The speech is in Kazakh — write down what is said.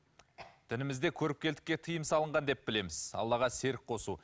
дінімізде көріпкелдікке тыйым салынған деп білеміз аллаға серік қосу